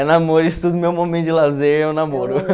É namoro, isso tudo, meu momento de lazer é o namoro.